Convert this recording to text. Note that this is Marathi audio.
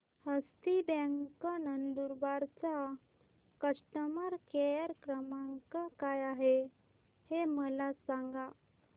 हस्ती बँक नंदुरबार चा कस्टमर केअर क्रमांक काय आहे हे मला सांगा